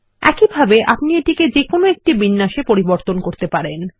একইভাবে আপনি এটি যেকোনো একটি বিন্যাস এ পরিবর্তন করতে পারেন